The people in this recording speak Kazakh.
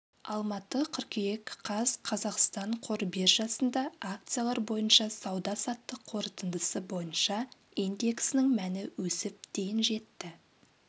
алматы қыркүйек қаз қазақстан қор биржасында акциялар бойынша сауда-саттық қорытындысы бойынша индексінің мәні өсіп дейін жетті